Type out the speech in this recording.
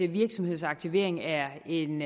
virksomhedsaktivering er en